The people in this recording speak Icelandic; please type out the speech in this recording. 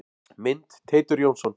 Mynd: Teitur Jónsson.